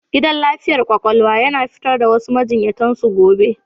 Gidan lafiyar kwakwalwa yana fitar da wasu majiyyatan su gobe.